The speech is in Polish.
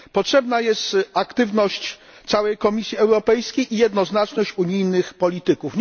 Potrzebna jest aktywność całej Komisji Europejskiej i jednoznaczność unijnych polityków.